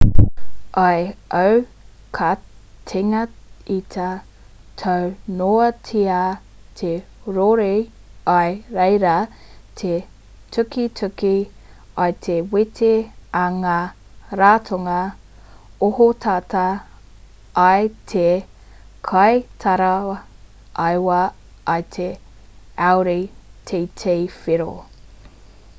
i aukatingita taunoatia te rori i reira te tukituki i te wete a ngā ratonga ohotata i te kaitaraiwa i te audi tt whero